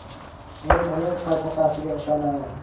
Men uning falsafasiga ishonaman.